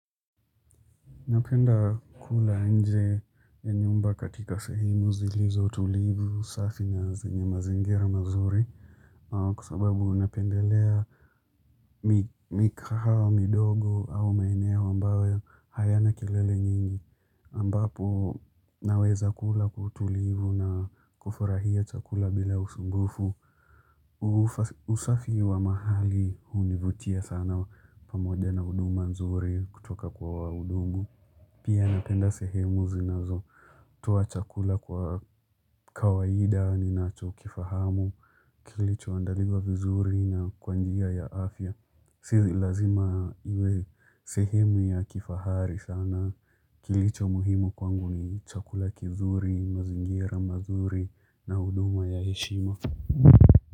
Napenda kula nje ya nyumba katika sehemu zilizo tulivu usafi na zinye mazingira mazuri. Kusababu napendelea mikahawa midogo au maeneo ambayo hayana kilele nyingi. Ambapo naweza kula kutulivu na kufurahia chakula bila usungufu. Usafi wa mahali univutia sana pamoja na huduma nzuri kutoka kwa udungu. Pia napenda sehemu zinazo. Toa chakula kwa kawaida ninacho kifahamu. Kilicho andaliwa vizuri na kwanjia ya afya. Sio lazima uwe. Sehemu ya kifahari sana. Kilicho muhimu kwangu ni chakula kizuri, mazingira mazuri na huduma ya heshima.